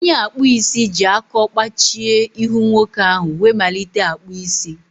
Onye akpụ isi ji akọ kpachie ihu nwoke ahụ wee malite akpụ isi.